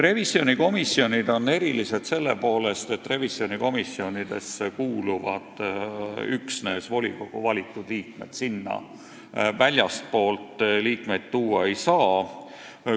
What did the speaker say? Revisjonikomisjonid on erilised selle poolest, et sinna kuuluvad üksnes volikogusse valitud liikmed, sinna ei saa tuua liikmeid väljastpoolt volikogu.